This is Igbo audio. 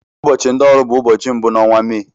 Ụbọchị ndị ọrụ bụ ụbọchị mbụ n'onwa Mee.